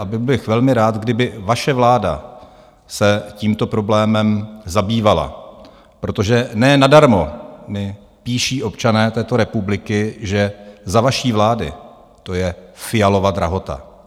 A byl bych velmi rád, kdyby vaše vláda se tímto problémem zabývala, protože ne nadarmo mi píší občané této republiky, že za vaší vlády to je Fialova drahota.